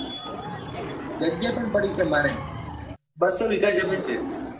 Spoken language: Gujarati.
જગ્યા પણ પડી છે મારે બસ્સો વિગા જમીન છે.